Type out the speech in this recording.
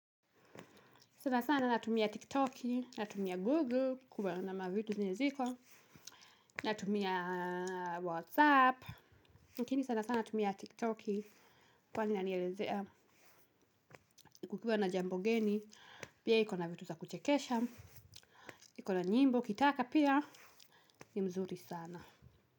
Sana sana natumia tiktoki, natumia google, kuwa namna vitu zenye ziko, natumia whatsapp, lakini sana sana natumia tiktoki kwani inanielizea kukiwa na jambo geni, pia iko na vitu za kuchekesha, iko na nyimbo, ukitaka pia, ni mzuri sana.